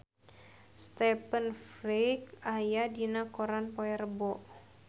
Stephen Fry aya dina koran poe Rebo